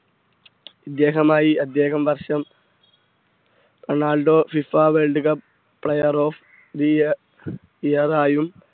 ഇദ്ദേഹമായി അദ്ദേഹം വർഷം Ronaldo FIFA world cup player of the year ആയും